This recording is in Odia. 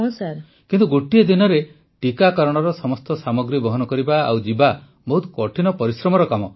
ପ୍ରଧାନମନ୍ତ୍ରୀ କିନ୍ତୁ ଗୋଟିଏ ଦିନରେ ଟୀକାକରଣର ସମସ୍ତ ସାମଗ୍ରୀ ବହନ କରିବା ଆଉ ଯିବା ବହୁତ କଠିନ ପରିଶ୍ରମର କାମ